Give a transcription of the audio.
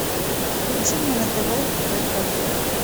включи мне на тв ретро